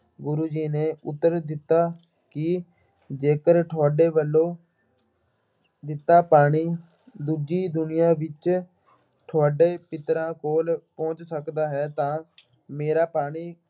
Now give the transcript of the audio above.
ਗੁਰੂ ਜੀ ਨੇ ਉੱਤਰ ਦਿੱਤਾ ਕਿ ਜੇਕਰ ਤੁਹਾਡੇ ਵੱਲੋਂ ਦਿੱਤਾ ਪਾਣੀ ਦੂਜੀ ਦੁਨੀਆ ਵਿੱਚ, ਤੁਹਾਡੇ ਪਿੱਤਰਾਂ ਕੋਲ ਪਹੁੰਚ ਸਕਦਾ ਹੈ ਤਾਂ ਮੇਰਾ ਪਾਣੀ